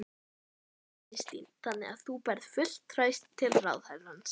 Þóra Kristín: Þannig að þú berð fullt traust til ráðherrans?